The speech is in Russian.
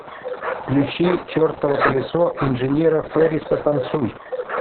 включи чертово колесо инженера ферриса танцуй